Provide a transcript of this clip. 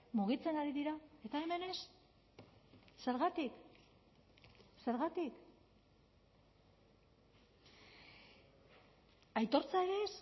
mugitzen ari dira eta hemen ez zergatik zergatik aitortza ere ez